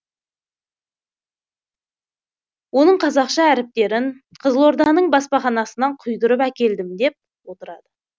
оның қазақша әріптерін қызылорданың баспаханасынан құйдырып әкелдім деп отырады